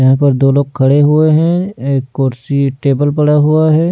यहाँ पर दो लोग खड़े हुए हैं एक कुर्सी-टेबल पड़ा हुआ है।